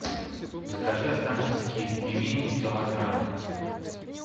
закажи останкинские пельмени килограмм